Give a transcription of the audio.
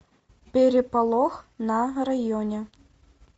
переполох на районе